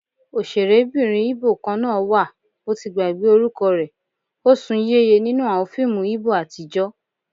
Ọ̀sẹ̀rébìnrin Íbò kan náà wà, mo ti gbàgbé orúkọ rẹ, ó sún yéye nínú àwọn fíìmù Íbò àtijọ́